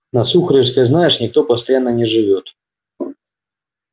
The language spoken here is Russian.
на сухаревской знаешь никто постоянно не живёт